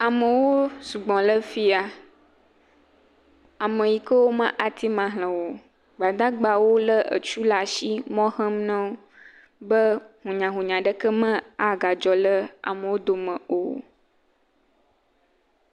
Amewo sugbɔ ɖe afiya. Ame siwo ke wòa ma teŋu axlẽ wò o. Gbadagbawo le etu ɖe asi le mɔ xem nawò. hunyahunya ɖe ke maga dzɔ ɖe wò dome o.